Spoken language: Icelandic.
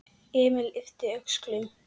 Emil yppti öxlum.